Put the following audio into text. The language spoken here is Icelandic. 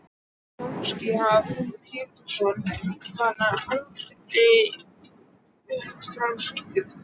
Kannski hafði frú Pettersson bara aldrei flust frá Svíþjóð.